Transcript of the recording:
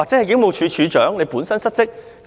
警務處處長有否失職？